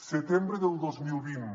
setembre del dos mil vint